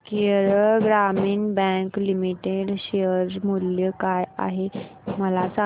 Kerala Gramin bank limited share मूल्य काय आहे मला सांगा